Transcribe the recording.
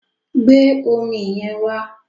Gbé omi yẹn wá!